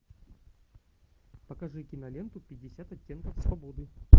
покажи киноленту пятьдесят оттенков свободы